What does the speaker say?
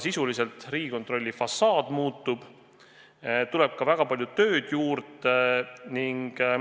Sisuliselt Riigikontrolli fassaad muutub ja tuleb ka väga palju tööd juurde.